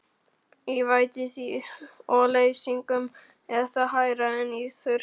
Í vætutíð og leysingum er það hærra en í þurrkum.